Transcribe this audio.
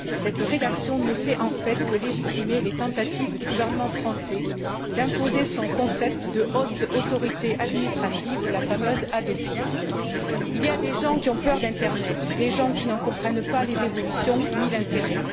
Cette rédaction ne fait, en fait, que légitimer les tentatives du gouvernement français d'imposer son concept de haute autorité administrative, la fameuse Hadopi. Il y a des gens qui ont peur de l'internet, des gens qui n'en comprennent pas les évolutions ni l'intérêt.